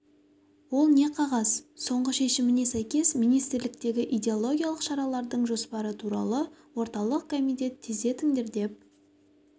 ол не қағаз соңғы шешіміне сәйкес министрліктегі идеологиялық шаралардың жоспары туралы орталық комитет тездетіңдер деп